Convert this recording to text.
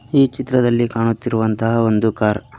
ಈ ಚಿತ್ರದಲ್ಲಿ ಕಾಣುತ್ತಿರುವಂತಹ ಒಂದು ಕಾರ್ .